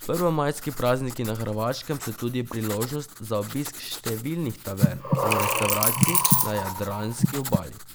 Prvomajski prazniki na Hrvaškem so tudi priložnost za obisk številnih tavern in restavracij na jadranski obali.